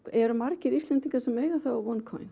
eru margir Íslendingar sem eiga